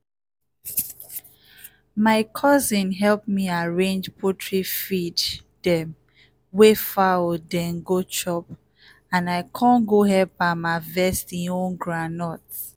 my cousin help me arrange poultry feed dem wey fowl den go chop and i con go help am harvest e own groundnut.